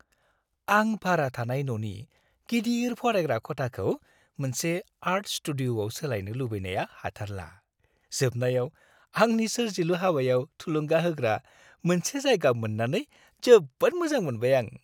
आं भारा थानाय न'नि गिदिर फरायग्रा खथाखौ मोनसे आर्ट स्टुडिअ'आव सोलायनो लुबैनाया हाथारला। जोबनायाव आंनि सोरजिलु हाबायाव थुलुंगा होग्रा मोनसे जायगा मोन्नानै जोबोद मोजां मोनबाय आं।